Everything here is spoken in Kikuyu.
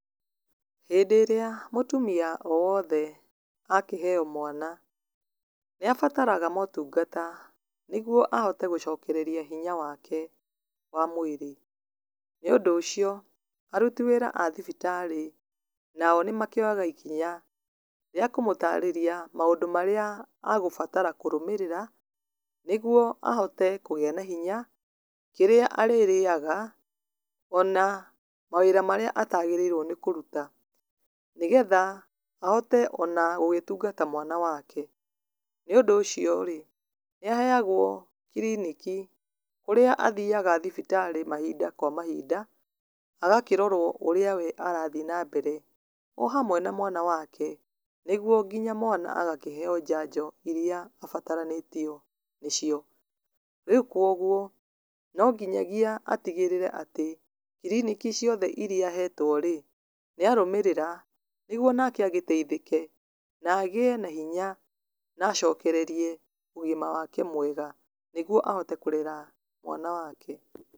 Hĩndĩ ĩrĩa mũtumia o wothe akĩheyo mwana nĩ abataraga motungata nĩguo ahote gũcokereria hinya wake wa mwĩrĩ, nĩ ũndũ ũcio aruti wĩra a thibitarĩ nao nĩ makĩoyaga ikinya rĩa kũmũtarĩria maũndũ marĩa agũbatara kũrũmĩrĩra nĩguo ahote kũgĩa na hina, kĩrĩa arĩrĩaga, ona mawĩra marĩa atagĩrĩirwo nĩ kũruta nĩgetha ahote ona gũgĩtungata mwana wake, nĩ ũndũ ũcio rĩ nĩ aheagwo kliniki, kũrĩa athiaga thibitarĩ mahinda kwa mahinda kũrĩa athiaga agakĩrorwo ũrĩa we arathiĩ na mbere o hamwe na mwana wake nĩguo mwana agakĩheo njanjo iria abataranĩtio nĩcio, rĩu kwoguo no nginyagĩa atigagĩrĩre atĩ kliniki ciothe iria ahetwo rĩ nĩ arũmĩrĩra nĩguo nake agĩteithĩke na agĩe na hinya na acokererie ũgima wake mwega, nĩguo ahote kũrera mwana wake.